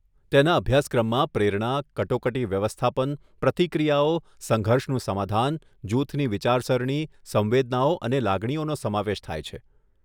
તેના અભ્યાસક્રમમાં પ્રેરણા, કટોકટી વ્યવસ્થાપન, પ્રતિક્રિયાઓ, સંઘર્ષનું સમાધાન, જૂથની વિચારસરણી, સંવેદનાઓ અને લાગણીઓનો સમાવેશ થાય છે.